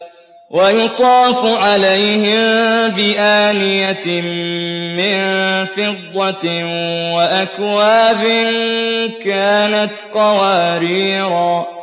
وَيُطَافُ عَلَيْهِم بِآنِيَةٍ مِّن فِضَّةٍ وَأَكْوَابٍ كَانَتْ قَوَارِيرَا